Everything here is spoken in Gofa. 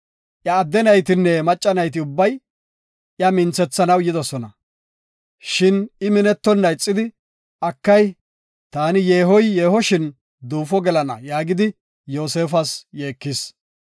Iya adde naytinne macca nayti ubbay iya minthethanaw yidosona. Shin I minettonna ixidi, “Akay, taani yeehoy yeehoshin duufo gelana” yaagidi, Yoosefas yeekis.